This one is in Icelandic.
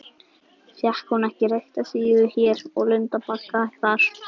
Fékk hún ekki reykta síðu hér og lundabagga þar?